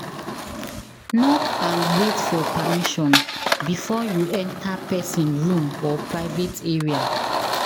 Knock and wait for permission before you enter person room or private area